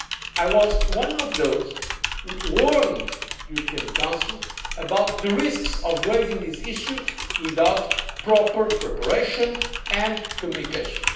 I was one of those who warned the European Council about the risks of raising this issue without proper preparation and communication.